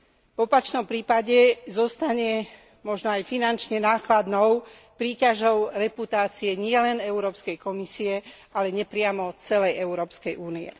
V opačnom prípade zostane možno aj finančne nákladnou príťažou reputácie nielen Európskej komisie, ale nepriamo celej Európskej únie.